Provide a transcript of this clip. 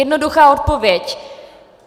Jednoduchá odpověď.